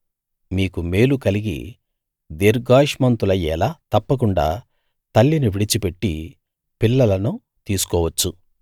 మీకు మేలు కలిగి దీర్ఘాయుష్మంతులయ్యేలా తప్పకుండా తల్లిని విడిచిపెట్టి పిల్లలను తీసుకోవచ్చు